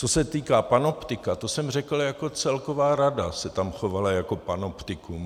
Co se týká panoptika, to jsem řekl, jako celková rada se tam chovala jako panoptikum.